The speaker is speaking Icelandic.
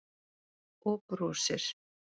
Og brosir.